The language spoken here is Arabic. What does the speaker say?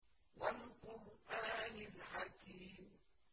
وَالْقُرْآنِ الْحَكِيمِ